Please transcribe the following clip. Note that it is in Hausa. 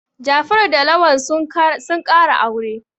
Jafaru da Lawal sun ƙara aure.